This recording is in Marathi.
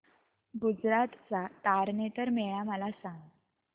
गुजरात चा तारनेतर मेळा मला सांग